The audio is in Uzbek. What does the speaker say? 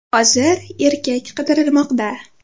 Hozir erkak qidirilmoqda.